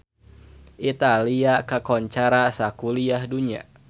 Italia kakoncara sakuliah dunya